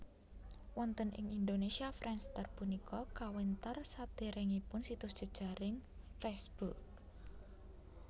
Wonten ing Indonesia Friendster punika kawentar sadèrèngipun situs jejaring Facebook